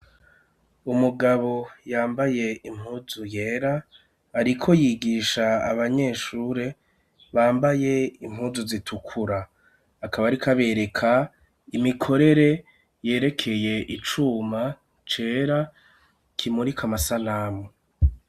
Umugabo yambaye impuzu yera ariko yigisha abanyeshuri bambaye impuzu zitukura akaba ariko abereka imikorere yerekeye icuma cera kimurika amasanamu.